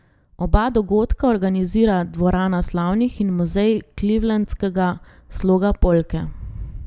Oba dogodka organizira Dvorana slavnih in muzej clevelandskega sloga polke.